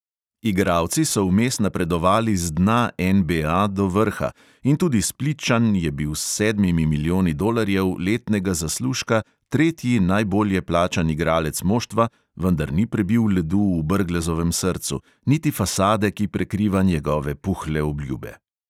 Igralci so vmes napredovali z dna NBA do vrha in tudi splitčan je bil s sedmimi milijoni dolarjev letnega zaslužka tretji najbolje plačan igralec moštva, vendar ni prebil ledu v brglezovem srcu, niti fasade, ki prekriva njegove puhle obljube.